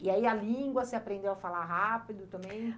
E aí a língua, você aprendeu a falar rápido também?